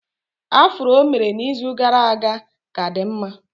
Afro o mere n'izu gara aga ka dị mma